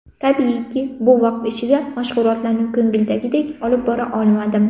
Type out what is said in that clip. Tabiiyki, bu vaqt ichida mashg‘ulotlarni ko‘ngildagidek olib bora olmadim.